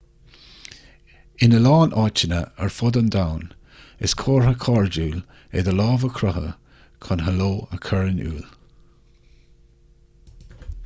ina lán áiteanna ar fud an domhain is comhartha cairdiúil é do lámh a croitheadh chun heileo a chur in iúl